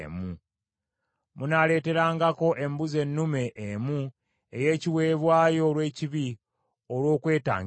Munaaleeterangako embuzi ennume emu ey’ekiweebwayo olw’ekibi olw’okwetangiririza.